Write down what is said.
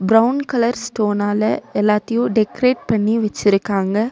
Brown colour ஸ்டோனால எல்லாத்தையு decorate பண்ணி வெச்சுருக்காங்க.